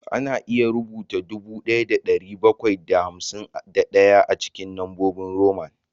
Ana iya rubuta dubu ɗaya da ɗari bakwai da hamsin da ɗaya cikin lambobin Roman